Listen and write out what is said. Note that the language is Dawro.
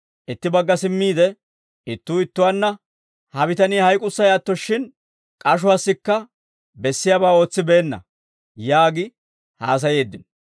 itti bagga simmiide, ittuu ittuwaanna, «Ha bitanii hayk'ussay atto shin, k'ashuwaassikka bessiyaabaa ootsibeenna» yaagi haasayeeddino.